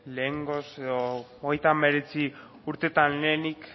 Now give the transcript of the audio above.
lehengoz edo hogeita hemeretzi urtetan lehenik